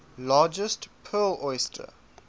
largest pearl oyster